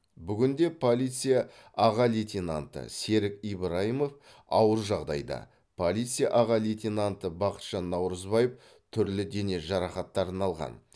бүгінде полиция аға лейтенанты серік ибраимов ауыр жағдайда полиция аға лейтенанты бақытжан наурызбаев түрлі дене жарақаттарын алған